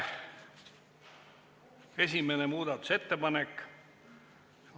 Esimene muudatusettepanek.